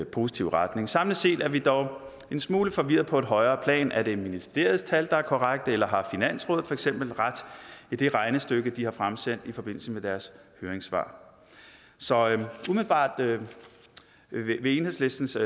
positive retning samlet set er vi dog en smule forvirret på et højere plan er det ministeriets tal der er korrekte eller har finansrådet for eksempel ret i det regnestykke de har fremsendt i forbindelse med deres høringssvar så umiddelbart vil enhedslistens